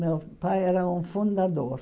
Meu pai era um fundador.